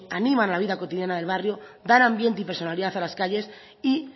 animan la vida cotidiana del barrio dan ambiente y personalidad a las calles y